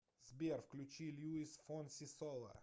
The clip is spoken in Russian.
сбер включи луис фонси сола